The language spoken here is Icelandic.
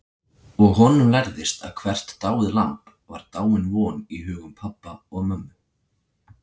Og honum lærðist að hvert dáið lamb var dáin von í hugum pabba og mömmu.